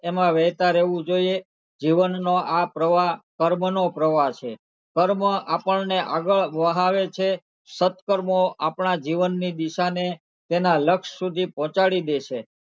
એમાં વહેતા રહેવું જોઈએ જીવનનો આ પ્રવાહ કર્મનો પ્રવાહ છે કર્મ આપણને આગળ વહાવે છે સત્કર્મો આપણા જીવનની દિશાને તેનાં લક્ષ સુધી પહોચાડી દે છે.